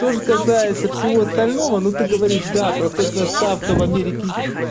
то же касается всего остального но ты говоришь да процентная ставка в америке